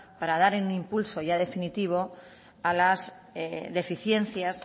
para darle un impulso ya definitivo a las deficiencias